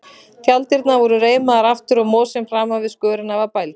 Tjalddyrnar voru reimaðar aftur og mosinn framan við skörina var bældur.